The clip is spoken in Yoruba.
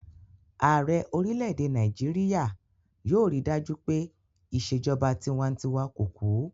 Ààrẹ orílẹ̀-èdè Nàìjíríyà yóò rí dájú pé ìṣèjọba tinwatinwa kò kú